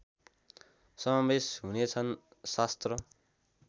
समावेश हुनेछन् शास्त्र